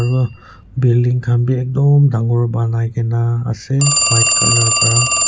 aro building khan bi ekdom dangor banai kena ase white colour para.